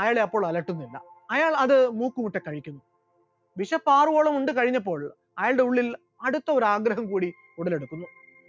അയാളെ അപ്പോൾ അലട്ടുന്നില്ല, അയാൾ അത്‌ മൂക്ക് മുട്ടെ കഴിച്ചു, വിശപ്പാറുവോളം ഉണ്ട് കഴിഞ്ഞപ്പോൾ അയാളുടെ ഉള്ളിൽ അടുത്ത ഒരു ആഗ്രഹം കൂടി ഉടലെടുത്തു,